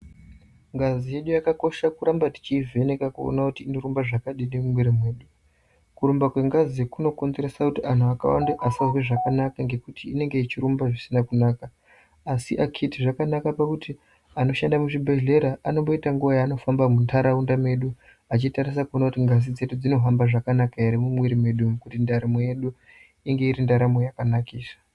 Ngazi yedu yakakosha kuramba tichiivheneka kuona kuti inorumba zvakadii mumwir mwedu, kurumba kwengazi kunokonzerresa kuti anhu akawanda asazwe zvakanaka ngekuti inenge yechirumba zvisina kunaka, asi akiti zvakanaka pakuti anoshanda muzvibhehlera anomboita nguwa yaanofamba munharaunda mwedu achitarisa kuoona kuti ngazi dzedu dzinofamba zvakanaka ere mumwiri mwedu umu kuti ndaramo yedu inge iri ndaramo yakanakisa.